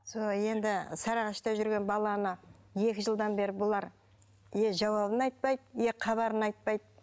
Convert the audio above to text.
сол енді сарыағашта жүрген баланы екі жылдан бері бұлар не жауабын айтпайды не хабарын айтпайды